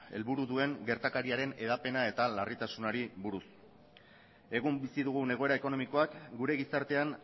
helburu duen gertakariaren hedapena eta larritasunari buruz egun bizi dugun egoera ekonomikoak gure gizartean